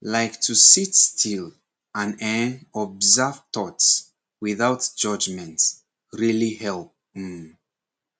like to sit still and[um]observe thoughts without judgment really help um